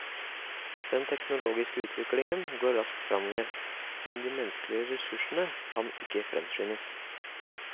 Den teknologiske utviklingen går raskt fremover, men de menneskelige resurssene kan ikke fremskyndes.